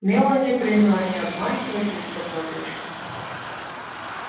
мелани принялась обмахивать лицо платочком